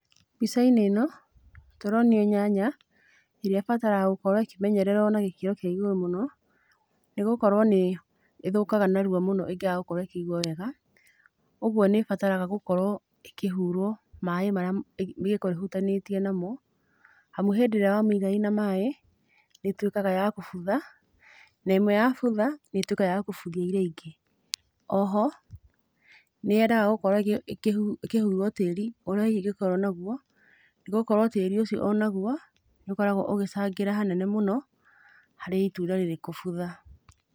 Mbica-inĩ ĩno, tũronio nyanya ĩrĩa ĩbataraga gũkorwo ĩkĩmenyererwo na gĩkĩro kĩa igũrũ mũno, nĩgũkorwo nĩĩthũkaga narua mũno ĩngĩaga gũkorwo ĩkĩigwo wega, ũguo nĩĩbataraga gũkorwo ĩkĩhurwo maaĩ marĩa ĩngĩkorwo ĩhutanĩtie namo, amu hĩndĩ ĩrĩa wamĩiga ĩna maaĩ nĩĩtuĩkaga ya kũbutha, na ĩmwe yabutha nĩĩtuĩkaga ya kũbuthia iria ingĩ. Oho nĩyendaga gũkorwo ĩkĩhurwo tĩri ũrĩa hihi ĩngĩkorwo naguo, nĩgũkorwo tĩrĩ ũcio onaguo nĩũkoragwo ũgĩcangĩra hanene mũno harĩ itunda rĩrĩ kũbutha.